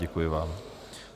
Děkuji vám.